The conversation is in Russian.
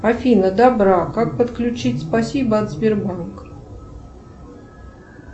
афина добра как подключить спасибо от сбербанка